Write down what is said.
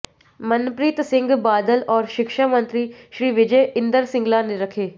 मनप्रीत सिंह बादल और शिक्षा मंत्री श्री विजय इंदर सिंगला ने रखे